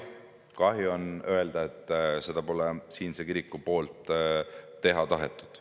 Kahju on öelda, et seda pole siinne kirik teha tahtnud.